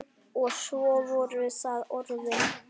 Og svo voru það orðin.